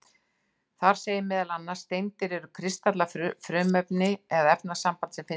Þar segir meðal annars: Steindir eru kristallað frumefni eða efnasamband sem finnst í náttúrunni.